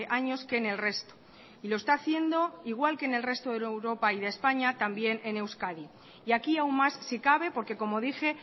años que en el resto y lo está haciendo igual que en el resto de europa y de españa también en euskadi y aquí aún más si cabe porque como dije